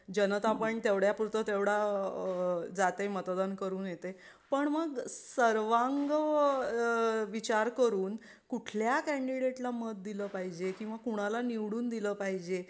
जनता पण तेवढ्या पुरतं तेवढा जाते मतदान करून येते पण मग सर्वांग विचार करून कुठल्या कॅन्डीडेटला मत दिलं पाहिजे किंवा कोणाला निवडून दिलं पाहिजे.